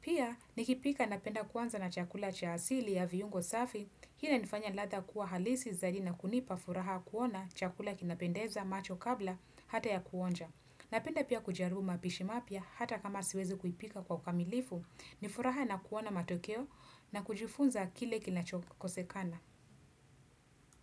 Pia nikipika napenda kwanza na chakula cha asili ya viungo safi, hi inalifanya ladha kuwa halisi zaidi na kunipa furaha kuona chakula kinapendeza macho kabla hata ya kuonja. Napenda pia kujarubu mapishi mapya hata kama siwezi kuipika kwa ukamilifu, nifuraha na kuona matokeo na kujufunza kile kinachokosekana.